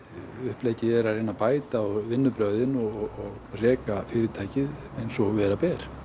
uppleggið er að reyna að bæta vinnubrögðin og reka fyrirtækið eins og vera ber